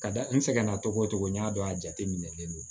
Ka da n sɛgɛn na togo togo n y'a dɔn a jateminɛlen don